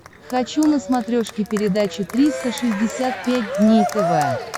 хочу на смотрешке передачу триста шестьдесят пять дней тв